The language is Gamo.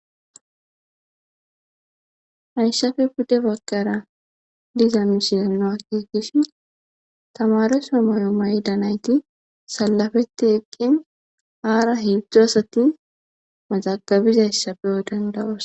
Haysafe pudde bagkara diza misinoakegishi tamareso moyo mayda nayti salafetti eqqen aara hibzdzu asati mazagabizayssa beyo dandawos